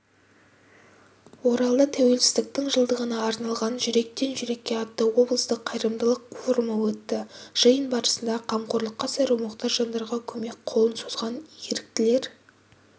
оралда тәуелсіздіктің жылдығына арналған жүректен жүрекке атты облыстық қайырымдылық форумы өтті жиын барысында қамқорлыққа зәру мұқтаж жандарға көмек қолын созған еріктілер